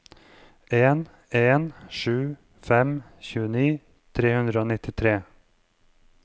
en en sju fem tjueni tre hundre og nittitre